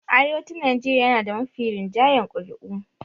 Arewacin Nigeria yana da mafi rinjayen ƙuri'u.